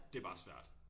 Det bare svært